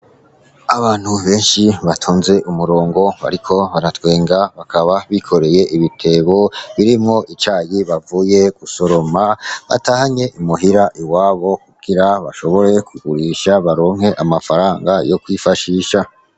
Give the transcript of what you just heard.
Abantu benshi batonze umurongo bariko baratwenga, bakaba bikoreye ibitebo birimwo icayi bavuye gusoroma batahanye i muhira iwabo kugira bashobore kugurisha baronke amafaranga yo kwifashisha.